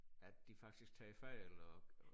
At de faktisk tager fejl og